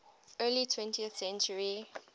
early twentieth century